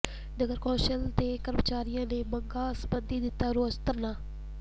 ਨਗਰ council ਦੇ ਕਰਮਚਾਰੀਆਂ ਨੇ ਮੰਗਾਂ ਸਬੰਧੀ ਦਿੱਤਾ ਰੋਸ ਧਰਨਾ